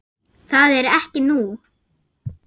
Það er ekki nú?